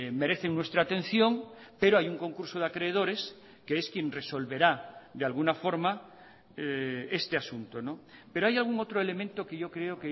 merecen nuestra atención pero hay un concurso de acreedores que es quien resolverá de alguna forma este asunto pero hay algún otro elemento que yo creo